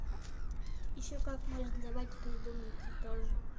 ещё как можно давать придумайте тоже